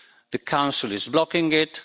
The Council is blocking it